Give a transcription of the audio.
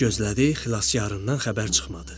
Çox gözlədi, xilaskandan xəbər çıxmadı.